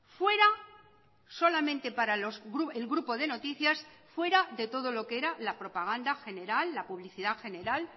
fuera solamente para el grupo de noticias fuera de todo lo que era la propaganda general la publicidad general